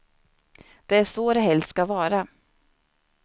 Det är så det helst ska vara.